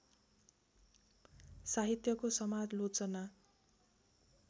साहित्यको समालोचना